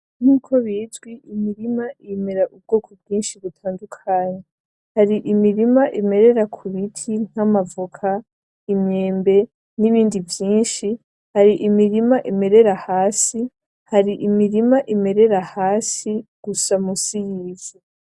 Nkuko bizwi imirima imera ubwoko bwinshi butandukanye. Hari imiririma imerera ku biti nk'amavoka, imyembe n'ibindi vyinshi, hari imirima imerera hasi, gusa musi y'imizi.